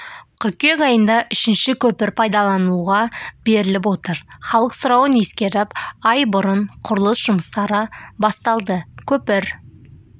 қыркүйек айында үшінші көпір пайдалануға беріліп отыр халық сұрауын ескеріп ай бұрын құрылыс жұмыстары басталды көпір